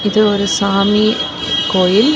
இது ஒரு சாமி கோயில்.